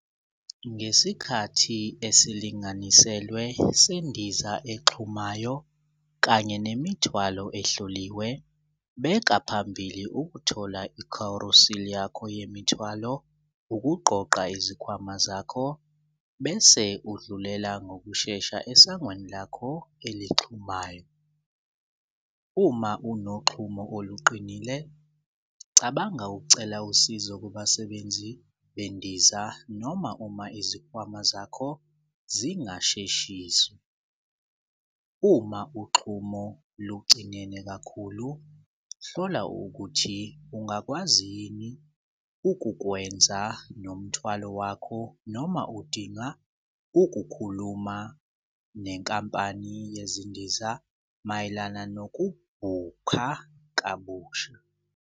Ngesikhathi esilinganiselwe sendiza exhumayo kanye nemithwalo ehloliwe, beka phambili ukuthola i-carousel yakho yemithwalo, ukuqoqa izikhwama zakho bese udlulela ngokushesha esangweni lakho elixhumayo. Uma unoxhumo oluqinile cabanga ukucela usizo kubasebenzi bendiza noma uma izikhwama zakho zingasheshisi. Uma uxhumo lugcinene kakhulu hlola ukuthi ungakwazi yini ukukwenza nomthwalo wakho noma udinga ukukhuluma nenkampani yezindiza mayelana nokubhukha kabusha.